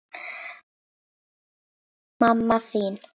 Mamma þín